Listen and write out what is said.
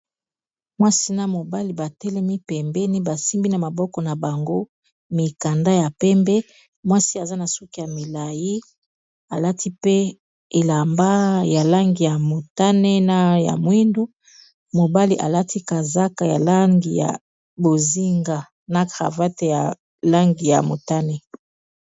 Mwasi na mobali batelemi pembeni basimbi na maboko na bango, mikanda ya pembe mwasi aza na suki ya milai alati pe elamba ya langi ya motane na ya mwindu, mobali alati kazaka ya langi ya bozinga na cravate ya langi ya motane.